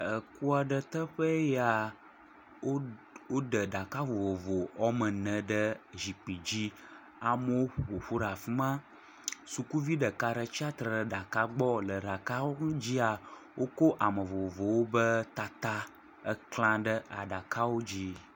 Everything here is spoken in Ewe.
Eku aɖe teƒee ya. Wodɛ ɖaka vovovo woame ne ɖe zikpi dzi. amewo ƒo ƒu ɖe afi ma. Sukuvi ɖeka ɖe tsia tre ɖe ɖaka gbɔ. Le ɖakawo godzia, woko ame vovovowo be tata eklã ɖe aɖakawo dzi.